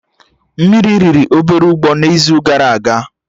Mmiri riri obere ụgbọ na izu gara aga